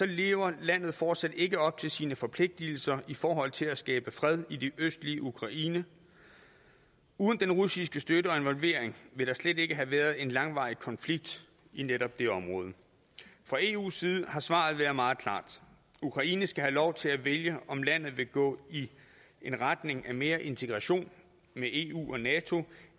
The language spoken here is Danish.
lever landet fortsat ikke op til sine forpligtelser i forhold til at skabe fred i det østlige ukraine uden den russiske støtte og involvering ville der slet ikke have været en langvarig konflikt i netop det område fra eus side har svaret været meget klart ukraine skal have lov til at vælge om landet vil gå i retning af mere integration med eu og nato